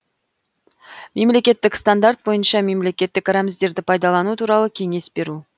мемлекеттік стандарт бойынша мемлекеттік рәміздерді пайдалану туралы кеңес беру